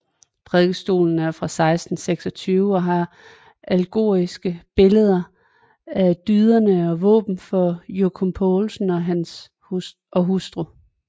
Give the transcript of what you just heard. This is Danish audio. Prædikestolen er fra 1626 og har allegoriske billeder af dyderne og våben for Jockum Poulsen og hustru